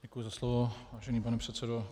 Děkuji za slovo, vážený pane předsedo.